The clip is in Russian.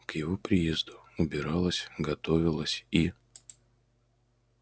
к его приезду убиралось готовилось и